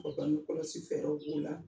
O bangekɔlɔsi fɛɛrɛw b'o la